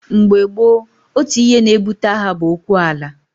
Mgbe gboo, otu ihe na-ebute agha bụ okwu ala.